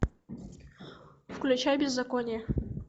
включай беззаконие